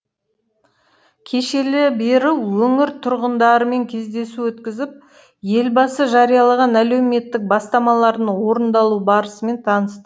кешелі бері өңір тұрғындарымен кездесу өткізіп елбасы жариялаған әлеуметтік бастамалардың орындалу барысымен таныс